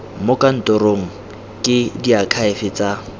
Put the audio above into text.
mo kantorong ke diakhaefe tsa